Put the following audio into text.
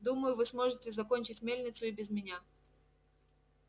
думаю вы сможете закончить мельницу и без меня